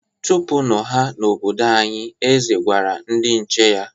Chụpụnụ ha n'obodo anyị! Eze gwara ndị nche ya.